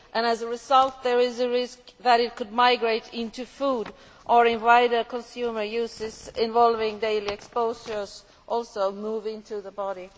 As a result, there is a risk that it could migrate into food or, in wider consumer uses involving daily exposure, also move into the body.